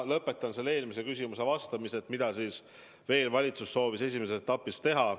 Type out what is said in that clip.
Ma lõpetan vastuse eelmisele küsimusele ja ütlen, mida veel valitsus soovib esimeses etapis teha.